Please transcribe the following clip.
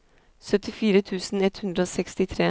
syttifire tusen ett hundre og sekstitre